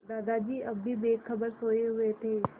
दादाजी अब भी बेखबर सोये हुए थे